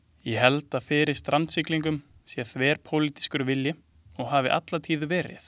Ég held að fyrir strandsiglingum sé þverpólitískur vilji og hafi alla tíð verið.